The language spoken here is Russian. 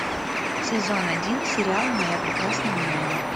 сезон один сериал моя прекрасная няня